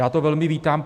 Já to velmi vítám.